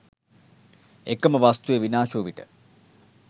එකම වස්තුව විනාශ වු විට